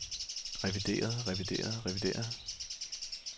revideret revideret revideret